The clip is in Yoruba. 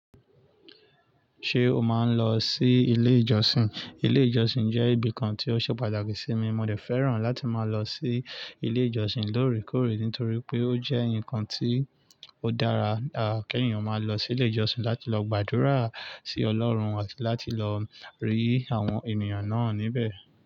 Ṣé o máa ń lọ sí ilé ìjọsìn? Ilé ìjọsìn jẹ́ ibi kan tí ó ṣe pàtàkì sí mi. Mo dẹ fẹ́ràn láti máa lọ sí ilé ìjọsìn lóòrèkóòrè nítorí pé ó jẹ́ nǹkan tí ó dára. Ki eeyan máa lọ sí ilé ìjọsìn láti lọ gbàdúrà sí ọlọ́run àti láti lọ rí àwọn ènìyàn náà níbẹ̀.